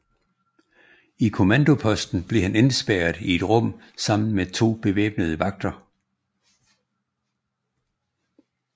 I kommandoposten blev han indespærret i et rum sammen med to bevæbnede vagter